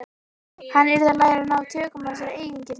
Hann yrði að læra að ná tökum á þessari eigingirni.